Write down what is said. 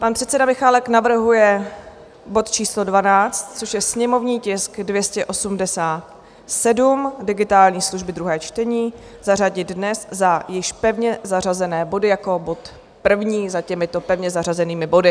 Pan předseda Michálek navrhuje bod číslo 12, což je sněmovní tisk 287, digitální služby, druhé čtení, zařadit dnes za již pevně zařazené body jako bod první za těmito pevně zařazenými body.